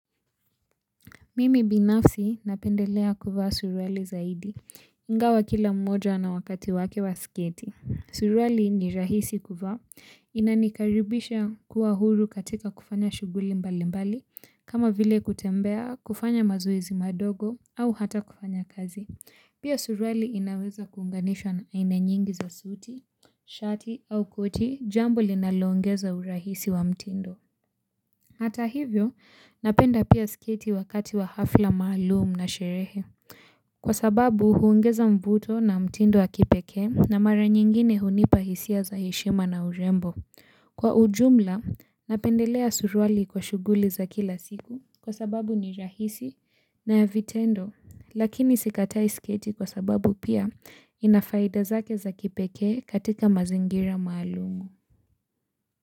Mimi binafsi napendelea kuvaa suruali zaidi, ingawa kila mmoja na wakati wake wa sketi. Suruali ni rahisi kuvaa, inanikaribisha kuwa huru katika kufanya shughuli mbali mbali, kama vile kutembea, kufanya mazoezi madogo, au hata kufanya kazi. Pia suruali inaweza kuunganishwa na ina nyingi za suti, shati au koti jambo linalongeza urahisi wa mtindo. Hata hivyo, napenda pia sketi wakati wa hafla maalumu na sherehe. Kwa sababu, huongeza mvuto na mtindo wa kipekee, na mara nyingine hunipa hisia za heshima na urembo. Kwa ujumla, napendelea suruali kwa shughuli za kila siku, kwa sababu ni rahisi na ya vitendo. Lakini sikatai sketi kwa sababu pia ina faida zake za kipekee katika mazingira maalumu.